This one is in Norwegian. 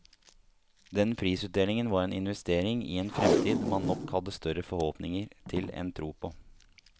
Den prisutdelingen var en investering i en fremtid man nok hadde større forhåpninger til enn tro på.